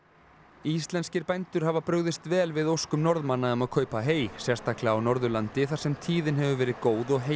íslenskir bændur hafa brugðist vel við óskum Norðmanna um að kaupa hey sérstaklega á Norðurlandi þar sem tíðin hefur verið góð og